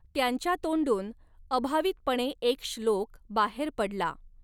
त्यांच्या तोंडून अभावितपणे एक श्लोक बाहेर पडला.